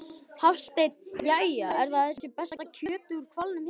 Hafsteinn: Jæja, er þetta besta kjötið úr hvalnum hérna?